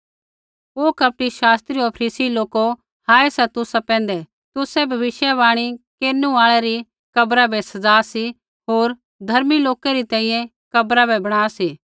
ओ कपटी शास्त्री होर फरीसी लोको हाय सा तुसा पैंधै तुसै भविष्यवाणी केरनु आल़ै री कब्रा बै सज़ा सी होर धर्मी लोकै री तैंईंयैं कब्रा बै बणा सी